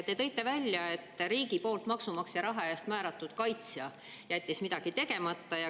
Te tõite välja, et riigi poolt maksumaksja raha eest määratud kaitsja jättis midagi tegemata.